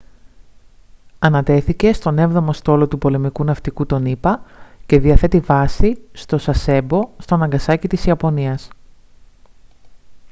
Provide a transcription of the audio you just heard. ανατέθηκε στον έβδομο στόλο του πολεμικού ναυτικού των ηπα και διαθέτει βάση στο sasebo στο ναγκασάκι της ιαπωνίας